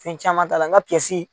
Fɛn caman t'a la n ka